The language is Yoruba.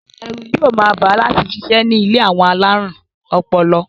Ẹ̀rù yóò máa bà á láti sisẹ́ ní ilé àwọn alárùn ọpọlọ.